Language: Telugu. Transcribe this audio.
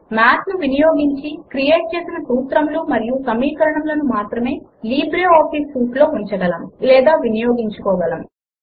మాథ్ ను వినియోగించి క్రియేట్ చేసిన సూత్రములు మరియు సమీకరణములను మాత్రమే లిబ్రేఆఫీస్ సూట్ లో ఉంచగలము లేదా వినియోగించుకోలగము